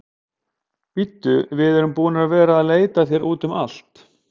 Bíddu, við erum búin að vera að leita að þér úti um allt.